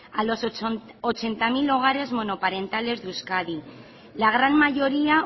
a los ochenta mil hogares monoparentales de euskadi la gran mayoría